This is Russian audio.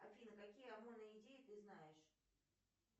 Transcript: афина какие идеи ты знаешь